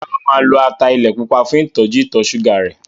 Rárá, o máa lo ata ilẹ̀ pupa fún ìtọ́jú ìtọ̀ ṣúgà rẹ̀.